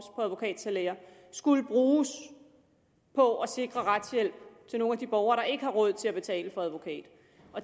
advokatsalærer skulle bruges på at sikre retshjælp til nogle af de borgere der ikke har råd til at betale for advokat